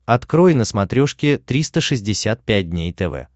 открой на смотрешке триста шестьдесят пять дней тв